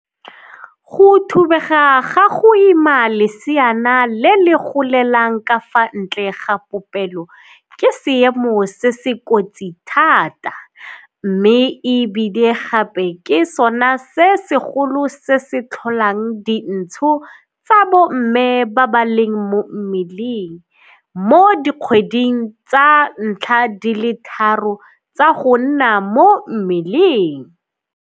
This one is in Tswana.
"Go thubega ga go ima leseana le le golelang ka fa ntle ga popelo ke seemo se se kotsi thata mme e bile gape ke sona se segolo se se tlholang dintsho tsa bomme ba ba leng mo mmeleng mo dikgweding tsa ntlha di le tharo tsa go nna mo mmeleng."